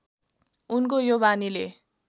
उनको यो बानीले